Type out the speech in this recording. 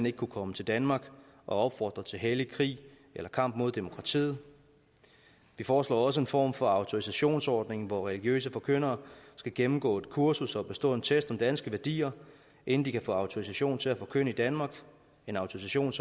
ikke kunne komme til danmark og opfordre til hellig krig eller kamp mod demokratiet vi foreslår også en form for autorisationsordning hvor religiøse forkyndere skal gennemgå et kursus og bestå en test om danske værdier inden de kan få autorisation til at forkynde i danmark en autorisation